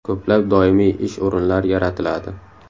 Ko‘plab doimiy ish o‘rinlari yaratiladi.